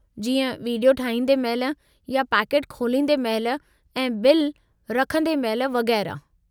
जीअं विडियो ठाहींदे महिल या पैकेटु खोलींदे महिल ऐं बिल रखंदे महिल वगै़रह।